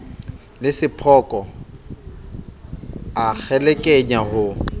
le sephoko a kgelekenya ho